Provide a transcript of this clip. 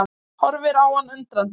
Horfir á hann undrandi.